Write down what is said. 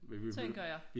Tænker jeg